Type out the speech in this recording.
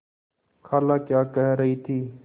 खाला क्या कह रही थी